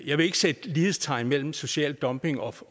jeg vil ikke sætte lighedstegn mellem social dumping og